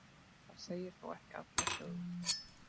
það segir þó ekki alla sögu